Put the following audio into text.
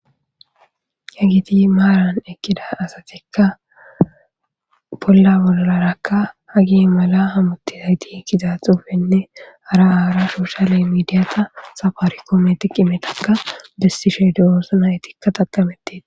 Hagiti maaran ekkida asatikka polla bollarakka hagi mala hamutti dagiti ekkiza xuufenne hara aara shoshale midiyata safaarikometiq imetakka bessisheedi oossna etikka taqametit.